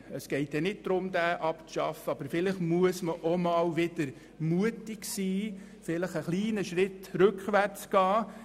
Es geht nicht darum, diesen Artikel abzuschaffen, aber vielleicht muss man einmal mutig sein und einen kleinen Schritt rückwärtsgehen.